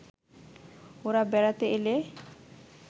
ওঁরা বেড়াতে এলে